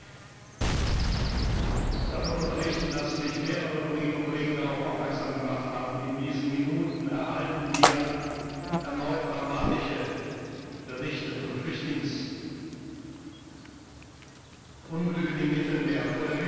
Ich möchte Sie davon unterrichten, dass mich mehrere Kolleginnen und Kollegen darauf aufmerksam, gemacht haben In diesen Minuten erhalten wir erneut dramatische Berichte von Flüchtlingsunglücken im Mittelmeer.